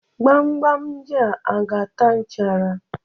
Gbamgbam ndị a aga-ata nchara?